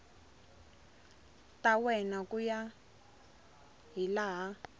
ta wena ku ya hilaha